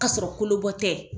K'asɔrɔ kolobɔ tɛ